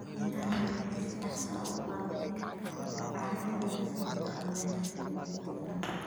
Beeraha waaweyni waxay si dhakhso ah u baabi'in karaan bacrinta ciidda sababtoo ah beerashada joogtada ah.